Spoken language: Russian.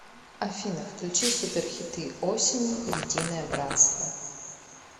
афина включи суперхиты осени единое братство